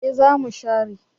Eh za mu share